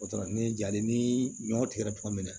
O dɔrɔn ni ja ni ɲɔ tigɛra tuma min na